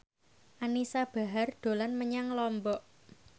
Anisa Bahar dolan menyang Lombok